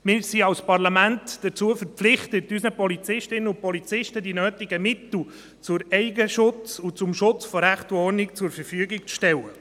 Wir sind als Parlament dazu verpflichtet, unseren Polizistinnen und Polizisten die nötigen Mittel zum Eigenschutz und zum Schutz von Recht und Ordnung zur Verfügung zu stellen.